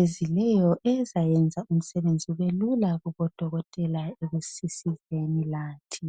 ezileyo ezayenza imsebenzi ibe lula kubodokotela ekusisizeni lathi